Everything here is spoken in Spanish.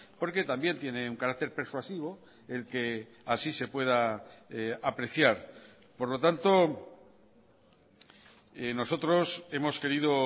porque también tiene un carácter persuasivo el que así se pueda apreciar por lo tanto nosotros hemos querido